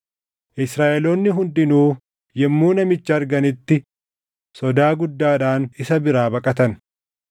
Israaʼeloonni hundinuu yommuu namicha arganitti sodaa guddaadhaan isa biraa baqatan.